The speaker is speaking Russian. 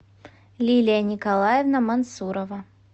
лилия николаевна мансурова